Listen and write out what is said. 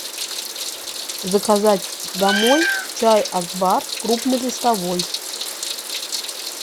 заказать домой чай акбар крупнолистовой